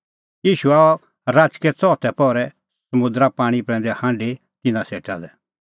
ईशू आअ राचकै च़ौथै पहरै समुंदरे पाणीं प्रैंदै हांढी तिन्नां सेटा लै